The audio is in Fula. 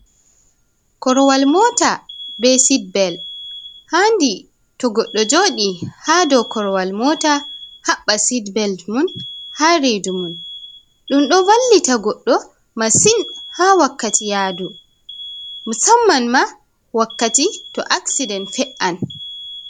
Korwal mota be sit bel, handi to goddo joɗi ha do korwal mota haɓɓa sid-bel mun ha redu mun, ɗum ɗo vallita goɗɗo masin ha wakkati yadu, musamman ma wakkati to aksiden fe’an.